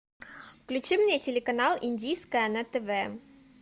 включи мне телеканал индийское на тв